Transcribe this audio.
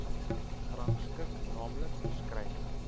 gerangskik naamlik beskrywing